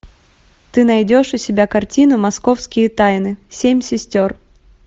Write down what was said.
ты найдешь у себя картину московские тайны семь сестер